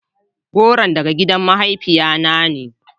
Goron daga gidan mahaifiya na ne.